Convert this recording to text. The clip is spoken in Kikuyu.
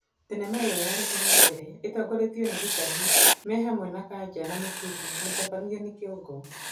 Thenema ĩo ya rita rĩa mbere ĩtongoretio nĩ Gĩtahi me hamwe na Kanja na Mũturi, mũtabania nĩ Kĩongo.